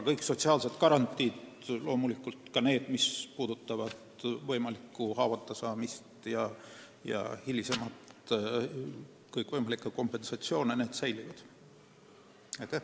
Kõik sotsiaalsed garantiid – loomulikult ka need, mis puudutavad haavatasaamisi ja kõikvõimalikke hilisemaid kompensatsioone – jäävad alles.